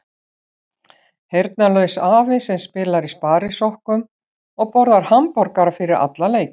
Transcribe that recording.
Heyrnarlaus afi sem spilar í sparisokkum og borðar hamborgara fyrir alla leiki.